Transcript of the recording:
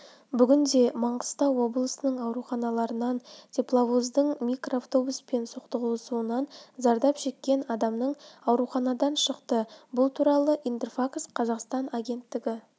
бүгінде маңғыстау облысының ауруханаларынан тепловоздың микроавтобуспен соқтығысуынан зардап шеккен адамның ауруханадан шықты бұл туралы интерфакс-қазақстан агенттігі